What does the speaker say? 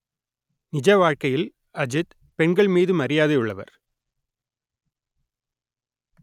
நிஜ வாழ்க்கையில் அஜித் பெண்கள் மீது மரியாதை உள்ளவர்